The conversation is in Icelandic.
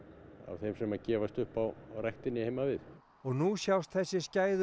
þeim sem gefast upp á ræktinni heima við og nú sjást þessi skæðu